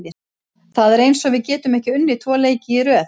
Það er eins og við getum ekki unnið tvo leiki í röð.